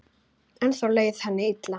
Ennþá leið henni illa.